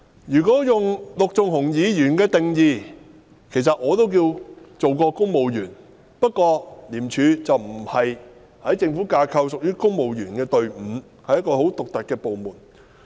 如果根據陸頌雄議員的定義來看，其實我也算是當過公務員，不過在政府架構中，廉政公署並不屬於公務員隊伍，而是一個很獨特的部門。